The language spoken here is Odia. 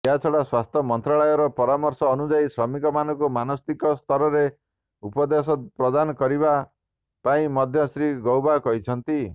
ଏହାଛଡ଼ା ସ୍ୱାସ୍ଥ୍ୟ ମନ୍ତ୍ରଣାଳୟର ପରାମର୍ଶ ଅନୁଯାୟୀ ଶ୍ରମିକମାନଙ୍କୁ ମନସ୍ତାତ୍ତ୍ୱିକ ସାମାଜିକ ଉପଦେଶ ପ୍ରଦାନ ପାଇଁ ମଧ୍ୟ ଶ୍ରୀ ଗୌବା କହିଛନ୍ତି